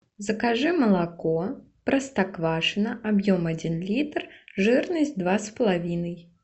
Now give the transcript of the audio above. закажи молоко простоквашино объем один литр жирность два с половиной